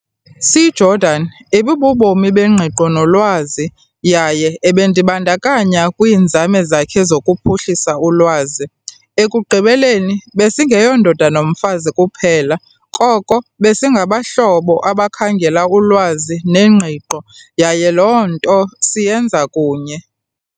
C Jordan ibububomi bengqiqo nolwazi yaye ebendibandakanya kwiinzame zakhe zokuphuhlisa ulwazi. Ekugqibeleni besingeyondoda nomfazi kuphela koko besingabahlobo abakhangela ulwazi nengqiqo yaye loo nto siyenza kunye.